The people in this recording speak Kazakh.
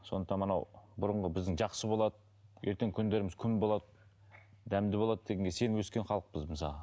сондықтан мынау бұрынғы біздің жақсы болады ертеңгі күндеріміз күн болады дәмді болады дегенге сеніп өскен халықпыз мысалға